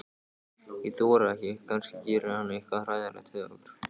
Ég þori ekki, kannski gerir hann eitthvað hræðilegt við okkur.